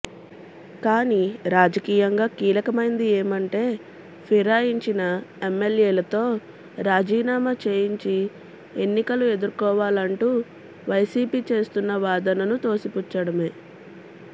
కాని రాజకీయంగా కీలకమైంది ఏమంటే ఫిరాయించిన ఎంఎల్ఎలతో రాజీనామా చేయించి ఎన్నికలు ఎదుర్కోవాలంటూ వైసీపీ చేస్తున్న వాదనను తోసిపుచ్చడమే